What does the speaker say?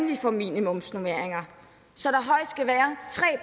vi får minimumsnormeringer så